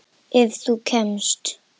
Ef þú kemst?